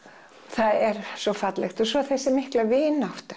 það er svo fallegt og svo þessi mikla vinátta